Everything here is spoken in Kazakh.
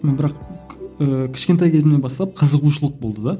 но бірақ ііі кішкентай кезімнен бастап қызығушылық болды да